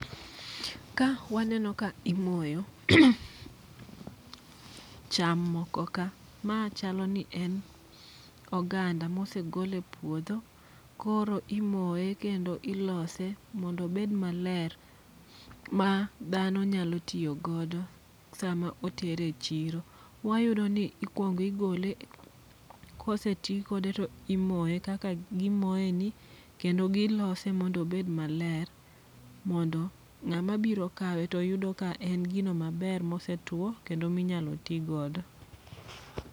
Ka waneno ka imoyo cham moko ka, ma chalo ni en oganda mose gol e puodho. Koro imoye kendo ilose mondo obed maler ma dhano nyalo tiyo godo sama oter e chiro. Wayudo ni ikwong igole, kose ti kode to imoye kaka gimoye ni. Kendo gilose mondo obed maler, mondo ng'ama biro kawe to yudo Ka en gino maler mose two kendo minyalo ti godo.